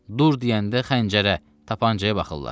Dur deyəndə xəncərə, tapancaya baxırlar.